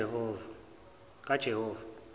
kajehova